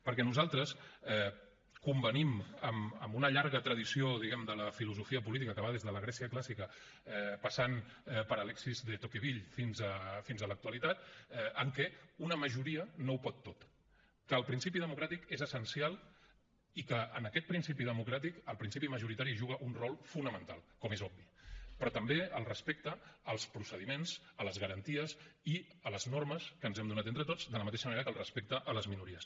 perquè nosaltres convenim amb una llarga tradició diguem ne de la filosofia política que va des de la grècia clàssica passant per alexis de tocqueville fins a l’actualitat en què una majoria no ho pot tot que el principi democràtic és essencial i que en aquest principi democràtic el principi majoritari hi juga un rol fonamental com és obvi però també el respecte als procediments a les garanties i a les normes que ens hem donat entre tots de la mateixa manera que el respecte a les minories